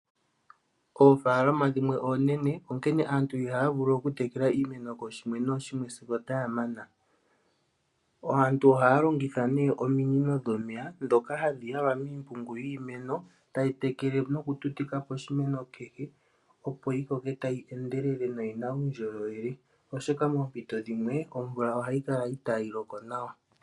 Oofaalama dhimwe oonene, onkene aantu ihaya vulu oku tekela iimeno kooshimwe nooshimwe sigo otaya mana. Aantu ohaya longitha nduno ominino dhomeya, ndhoka ha dhi yalwa miimpungu yiimeno tadhi tekele noku tutika poshimeno kehe Opo yi koke tayi endelele noyina uundjolowele oshoka poompito dhimwe omvula ihayi loko nawa.